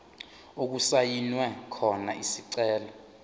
okusayinwe khona isicelo